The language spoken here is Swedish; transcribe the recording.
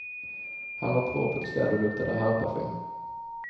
Han var propert klädd och luktade herrparfym.